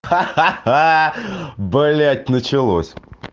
ха ха блять началось